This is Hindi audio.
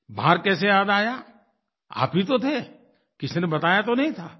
बाहर कैसे याद आया आप ही तो थे किसी ने बताया तो नहीं था